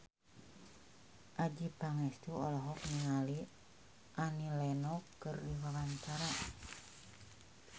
Adjie Pangestu olohok ningali Annie Lenox keur diwawancara